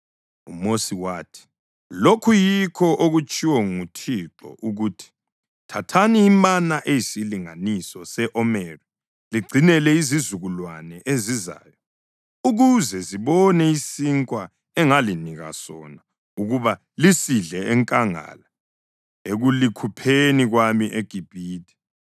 UMosi wathi, “Lokhu yikho okutshiwo nguThixo ukuthi: ‘Thathani imana eyisilinganiso se-omeri ligcinele izizukulwane ezizayo ukuze zibone isinkwa engalinika sona ukuba lisidle enkangala ekulikhupheni kwami eGibhithe.’ ”